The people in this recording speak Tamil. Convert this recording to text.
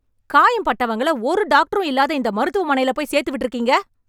காயம்பட்டவங்கள, ஒரு டாக்டரும் இல்லாத இந்த மருத்துவமனைல போய் சேர்த்துவிட்ருக்கீங்க...